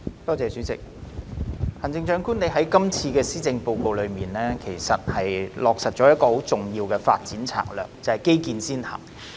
行政長官，你在今次的施政報告中落實了一項很重要的發展策略，就是基建先行。